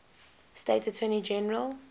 state attorney general